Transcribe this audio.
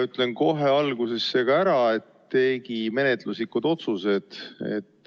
Ütlen kohe alguses ära menetluslikud otsused.